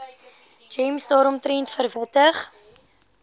gems daaromtrent verwittig